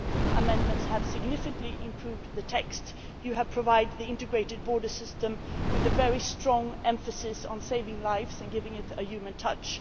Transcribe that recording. Your amendments have significantly improved the text. You have provided the integrated border system with a very strong emphasis on saving lives, and given it a human touch.